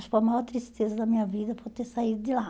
Acho que foi a maior tristeza da minha vida por ter saído de lá.